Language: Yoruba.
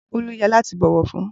Bolu yẹ lati bọwọ fun.